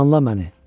Danla məni.